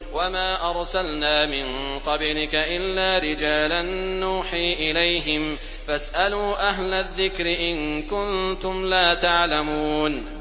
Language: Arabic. وَمَا أَرْسَلْنَا مِن قَبْلِكَ إِلَّا رِجَالًا نُّوحِي إِلَيْهِمْ ۚ فَاسْأَلُوا أَهْلَ الذِّكْرِ إِن كُنتُمْ لَا تَعْلَمُونَ